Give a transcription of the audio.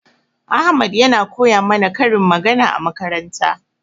Ahmad yana koya mana karin magana a makaranta.